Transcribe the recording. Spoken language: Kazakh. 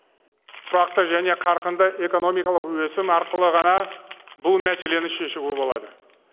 тұрақты және қарқынды экономикалық өсім арқылы ғана бұл мәселені шешуге болады